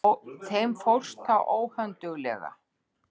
Þeim fórst það óhönduglega.